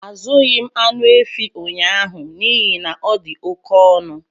Azụghị m anụ efi ụnyaahụ n'ihi na ọ dị oke ọnụ